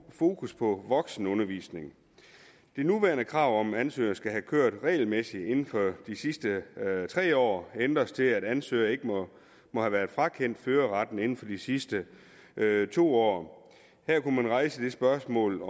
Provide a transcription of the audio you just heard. fokus på voksenundervisning det nuværende krav om at ansøgere skal have kørt regelmæssigt inden for de sidste tre år ændres til at ansøgere ikke må have været frakendt førerretten inden for de sidste to år her kunne man rejse det spørgsmål